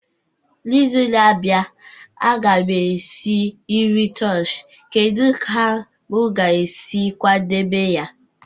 N'izu na-abịa, a ga m esi nri taushe kedu ka m ga-esi kwadebe ya?